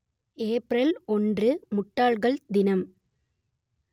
April ஒன்று முட்டாள்கள் தினம்